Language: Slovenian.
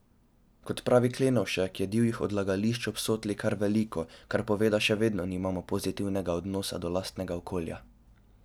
Kot pravi Klenovšek, je divjih odlagališč ob Sotli kar veliko, kar pove, da še vedno nimamo pozitivnega odnosa do lastnega okolja.